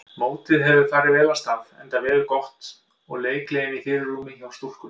Mótið hefur farið vel af stað enda veður gott og leikgleðin í fyrirrúmi hjá stúlkunum.